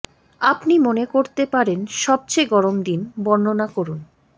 আপনি মনে করতে পারেন সবচেয়ে গরম দিন বর্ণনা করুন